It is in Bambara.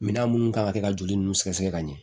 Minan minnu kan ka kɛ ka joli ninnu sɛgɛsɛgɛ ka ɲɛ